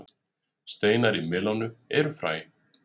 Steinar í melónum eru fræ.